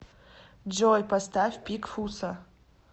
джой поставь пик фусса